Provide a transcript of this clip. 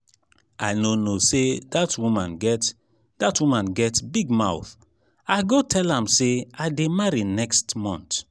i no know say dat woman get dat woman get big mouth i go tell am say i dey marry next um month